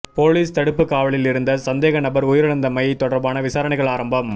police தடுப்பு காவலில் இருந்த சந்தேகநபர் உயிரிழந்தமை தொடர்பான விசாரணைகள் ஆரம்பம்